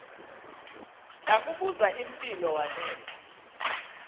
ndakubuz impilo wanela